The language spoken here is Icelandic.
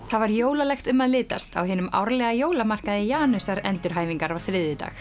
það var jólalegt um að litast á hinum árlega Janusar endurhæfingar á þriðjudag